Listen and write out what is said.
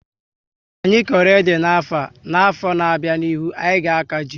Anyị koro ede n'afọ, n'afọ na abịa n'ihu, anyị ga aka jị